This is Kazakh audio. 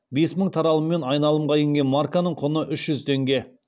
бес мың таралыммен айналымға енген марканың құны үш жүз теңге